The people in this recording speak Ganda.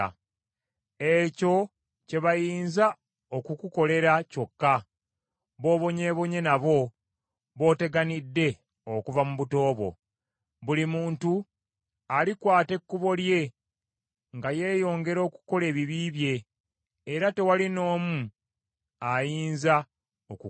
Ekyo kye bayinza okukukolera kyokka; b’obonyeebonye nabo b’oteganidde okuva mu buto bwo. Buli muntu alikwata ekkubo lye nga yeeyongera okukola ebibi bye era tewali n’omu ayinza okukulokola.”